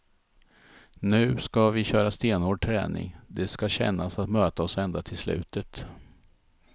Nu ska vi köra stenhård träning, det ska kännas att möta oss ända till slutet.